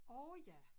Åh ja